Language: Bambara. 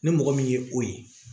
Ni mɔgɔ min ye o ye